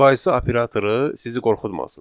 Müqayisə operatoru sizi qorxutmasın.